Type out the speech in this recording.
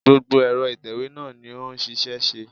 Gbogbo ẹ̀rọ ìtẹ̀wé náà ni ó ń ṣiṣẹ́ṣíṣẹ́.